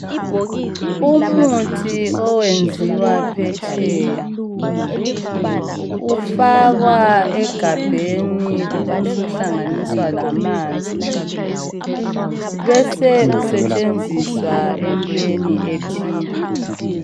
Umuthi owenziwa phetsheya ufakwa egabheni ubusuhlanganiswa lamanzi, bese usetshenziswa entweni ethile.